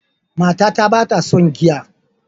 Matata ba ta son giya.